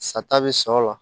Sa ta bɛ sɔ la